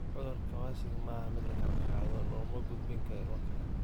Cudurka Kawasaki ma aha mid la kala qaado; looma gudbin karo ilma kale.